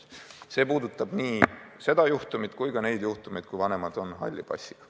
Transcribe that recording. See eelnõu puudutab nii seda juhtumit kui ka neid juhtumeid, kui vanemad on halli passiga.